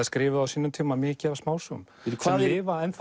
skrifuðu á sínum tíma mikið af smásögum sem lifa enn